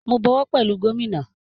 Mo bọwọ́ pẹ̀lú gómínà